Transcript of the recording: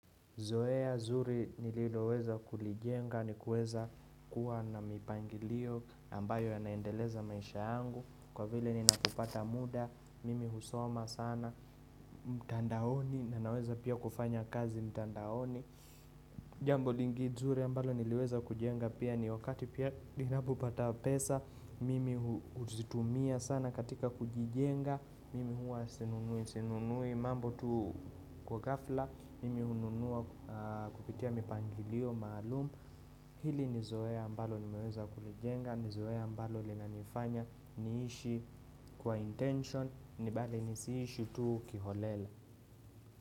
Zoea nzuri nililoweza kulijenga ni kuweza kuwa na mipangilio ambayo ya naendeleza maisha yangu kwa vile ninapopata muda mimi husoma sana mtandaoni na naweza pia kufanya kazi mtandaoni. Jambo lingine nzuri ambalo niliweza kujenga pia ni wakati ninapopata pesa Mimi huzitumia sana katika kujijenga Mimi hua sinunui mambo tu kwa gafla Mimi hununua kupitia mipangilio, maalum Hili nizoe ambalo nimeweza kulijenga Nizoe ambalo lina nifanya niishi kwa intention na bali nisiishi tu kiholela.